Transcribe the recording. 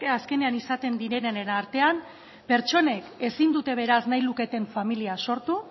azkenean izaten direnenen artean pertsonek ezin dute beraz nahi luketen familia sortu